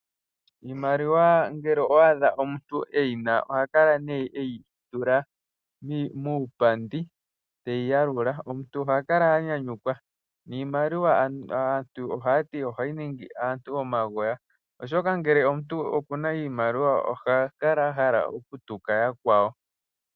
Iimaliwa ngele owa adha omuntu eyina ohakala nee eyitula muupandi, teyi yalula. Omuntu oha kala anyanyukwa, niimaliwa aantu ohaya ti, ohayi ningi aantu omagoya, oshoka ngele omuntu okuna iimaliwa oha kala ahala okutuka yakwawo.